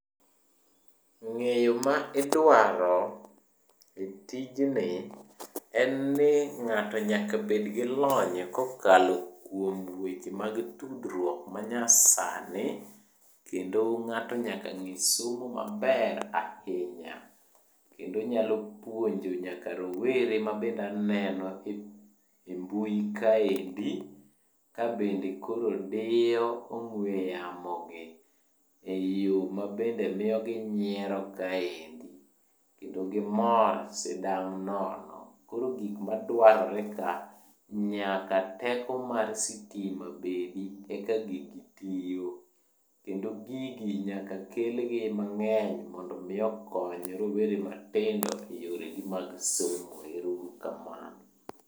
Ng'eyo ma idwaro e tijni, en ni ng'ato nyaka bed gi lony kokalo kuom weche mag tudruok manyasani, kendo ng'ato nyaka ng'e somo maber ahinya. Kendo nyalo puonjo nyaka rowere mabende aneno e mbui kaendi, kabende koro diyo ong'we yamo gi, e yo mabende miyo ginyiero kaendi, kendo gimor sidang' nono. Koro gik madwarore ka, nyaka teko mar sitima bedi eka gigi tiyo. Kendo gigi nyaka kelgi mang'eny mondo omi okony rowere matindo e yoregi mag somo. Ero uru kamano.